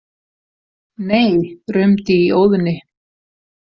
Nei, rumdi í Óðni.